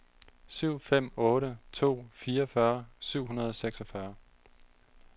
syv fem otte to fireogfyrre syv hundrede og seksogfyrre